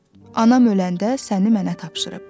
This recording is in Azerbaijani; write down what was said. Anam öləndə səni mənə tapşırıb.